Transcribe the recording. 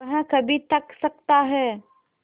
वह कभी थक सकता है